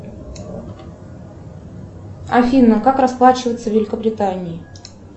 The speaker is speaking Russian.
афина как расплачиваться в великобритании